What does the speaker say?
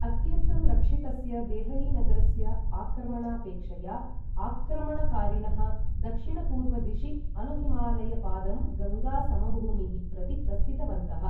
अत्यन्तं रक्षितस्य देहलीनगरस्य आक्रमणापेक्षया, आक्रमणकारिणः दक्षिणपूर्वदिशि अनुहिमालयपादं गङ्गा समभूमीः प्रति प्रस्थितवन्तः।